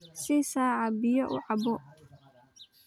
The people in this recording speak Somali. Sii saca biyo uu cabbo.